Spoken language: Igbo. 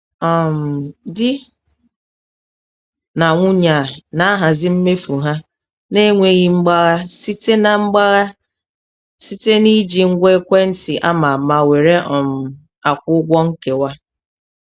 um Di na nwunye a na-ahazi mmefu ha n'enweghị mgbagha site na mgbagha site na iji ngwa ekwentị ama ama were um akwụ ụgwọ nkewa.